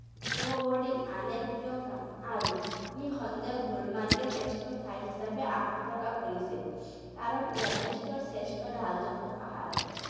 Snowboarding আন এক প্ৰিয় কাম আৰু নিঃসন্দেহে গুলমাৰ্গেই শ্ৰেষ্ঠ ঠাই হিচাপে আশা প্ৰকাশ কৰিছে কাৰণ ইয়াত বিশ্বৰ শ্ৰেষ্ঠ ঢালযুকt পাহাৰ আছে।